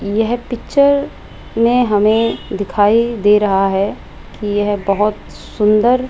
यह पिक्चर में हमें दिखाई दे रहा है कि यह बहोत सुंदर --